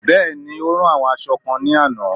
Bẹ́ẹ̀ni, o ra àwọn aṣọ kan ní àná